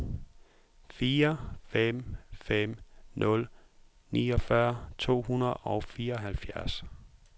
fire fem fem nul niogfyrre to hundrede og fireoghalvfjerds